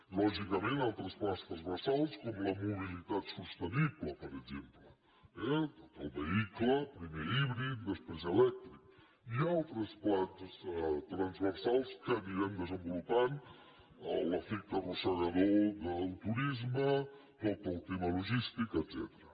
lògicament altres plans transversals com la mobilitat sostenible per exemple tot el vehicle primer híbrid després elèctric i altres plans transversals que anirem desenvolupant l’efecte arrossegador del turisme tot el tema logístic etcètera